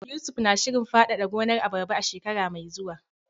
Yusuf na shirin fadada gonar abarba a shekara mai zuwa.